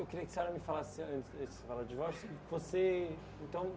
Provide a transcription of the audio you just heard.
Eu queria que a senhora me falasse antes antes de falar de divórcio. Você então